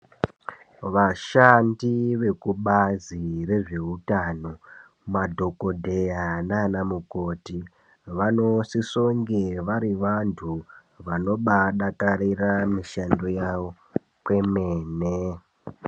Vashandi vekubazi rezvehutano madhogodheya nana mukoti. Vanosisonge vari vantu vanobadakarira mishando yavo kwemene.